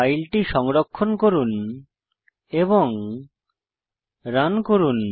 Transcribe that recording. ফাইলটি সংরক্ষণ করুন এবং রান করুন